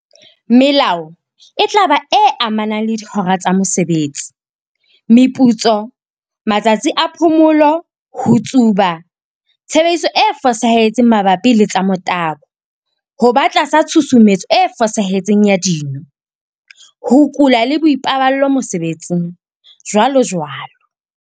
Melao e tla ba e amanang le dihora tsa mosebetsi, meputso, matsatsi a phomolo, ho tsuba, tshebediso e fosahetseng mabapi le tsa motabo, ho ba tlasa tshusumetso e fosahetseng ya dino, ho kula le boipaballo mosebetsing, jwalojwalo.